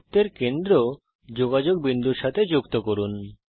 বৃত্তের কেন্দ্র যোগাযোগ বিন্দুর সাথে যুক্ত করুন